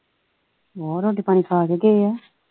ਕਿਉਂ ਰੋਟੀ ਪਾਣੀ ਖਾ ਕੇ ਗਏ ਆ।